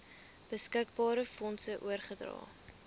beskikbare fondse oorgedra